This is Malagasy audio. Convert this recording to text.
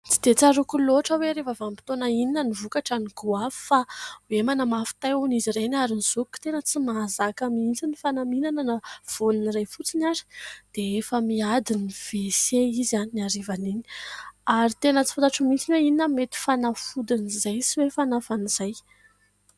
Tsy dia tsaroako loatra hoe rehefa vanim-potoana inona ny vokatra ny goavy fa hoe manamafy tay hono izy ireny ary ny zokiko tena tsy mahazaka mihitsiny fa na mihinana na voan'iray fotsiny aza dia efa miady ny " wc " izy ihany ny arivan'iny ary tena tsy fantatro mihitsy ny hoe inona mety fanafodin'izay sy hoe fanafan'izay ?